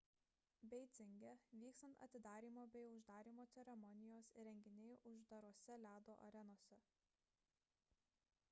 beidzinge vyks atidarymo bei uždarymo ceremonijos ir renginiai uždarose ledo arenose